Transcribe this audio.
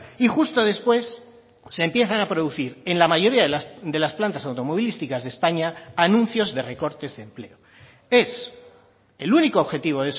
y justo después se empiezan a producir en la mayoría de las plantas automovilísticas de españa anuncios de recortes de empleo es el único objetivo